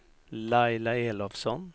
Laila Elofsson